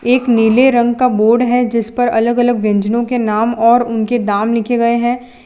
एक नीले रंग का बोर्ड है जिस पर अलग अलग व्यंजनों के नाम और उनके दाम लिखे गए हैं।